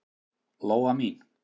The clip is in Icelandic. Lóa mín.